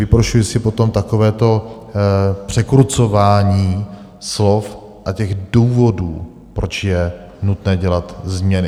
Vyprošuji si potom takovéto překrucování slov a těch důvodů, proč je nutné dělat změny.